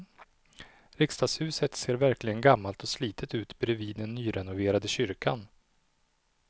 Riksdagshuset ser verkligen gammalt och slitet ut bredvid den nyrenoverade kyrkan.